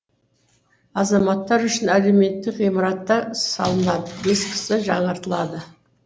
азаматтар үшін әлеуметтік ғимараттар салынады ескісі жаңаратылады